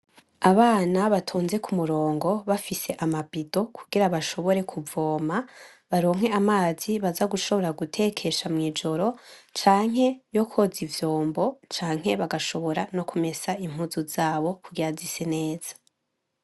Abana batonze ku murongo bafise amabido kugira bashobore kuvoma, baronke amazi baza gushobora gutekesha mw’ijoro, canke yo koza ivyombo, canke bagashobora no kumesa impuzu zabo kugira zise neza.